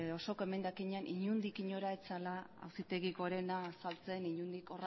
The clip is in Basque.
osoko emendakina inondik inora ez zela auzitegi gorena azaltzen